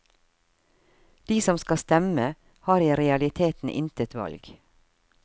De som skal stemme, har i realiteten intet valg.